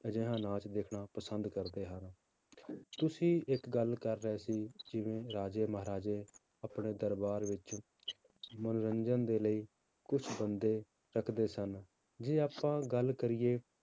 ਅਜਿਹਾ ਨਾਚ ਦੇਖਣਾ ਪਸੰਦ ਕਰਦੇ ਹਨ ਤੁਸੀਂ ਇੱਕ ਗੱਲ ਕਰ ਰਹੇ ਸੀ ਜਿਵੇਂ ਰਾਜੇ ਮਹਾਰਾਜੇ ਆਪਣੇ ਦਰਬਾਰ ਵਿੱਚ ਮਨੋਰੰਜਨ ਦੇ ਲਈ ਕੁਛ ਬੰਦੇ ਰੱਖਦੇ ਸਨ ਜੇ ਆਪਾਂ ਗੱਲ ਕਰੀਏ